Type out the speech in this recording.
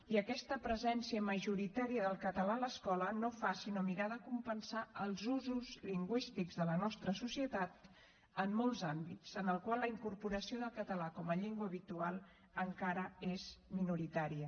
i aquesta presència majoritària del català a l’escola no fa sinó mirar de compensar els usos lingüístics de la nostra societat en molts àmbits en els quals la incorporació del català com a llengua habitual encara és minoritària